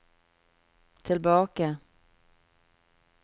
tilbake